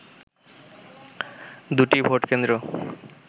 দুটি ভোটকেন্দ্র